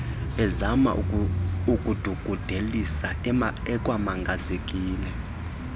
ezama ukudungudelisa ekwamangazekile